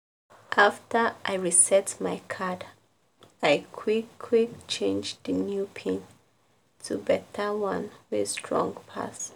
after i reset my card i quick-quick change di new pin to beta one wey strong pass.